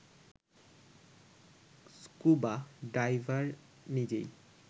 scuba diver নিজেই